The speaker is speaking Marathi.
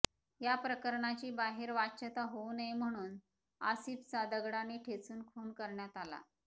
या प्रकरणाची बाहेर वाच्यता होऊ नये म्हणून आसिफाचा दगडाने ठेचून खून करण्यात आला